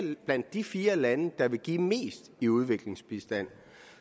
blandt de fire lande der vil give mest i udviklingsbistand